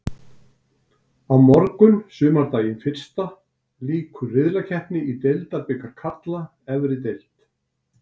Á morgun sumardaginn fyrsta lýkur riðlakeppni í deildabikar karla efri deild.